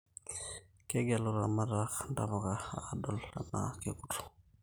Kegelu ilaramatak intapuka adol enaa kekuto